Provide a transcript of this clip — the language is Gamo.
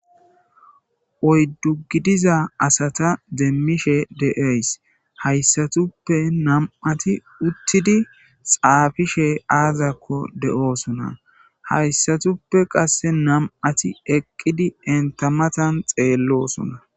Oyddu gidiza asata deemmishe de7ays hayssatuppe nam7ati uttidi xaafishe aazakko de7oosona hayssatuppe qasse nam7ati eqqidi entamatan xeellosuna